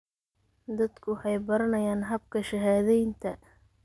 Dadku waxay baranayaan habka shahaadaynta.